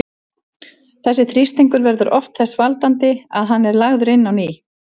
Þessi þrýstingur verður oft þess valdandi að hann er lagður inn á ný.